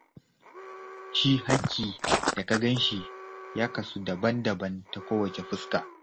Shi haƙƙi da ka gan shi, ya kasu daban-daban ta kowace fuska.